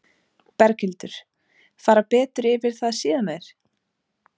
Berghildur: Fara betur yfir það síðar meir?